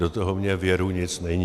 Do toho mně věru nic není.